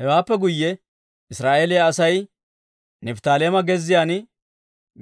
Hewaappe guyye Israa'eeliyaa Asay Nifttaaleema gezziyaan,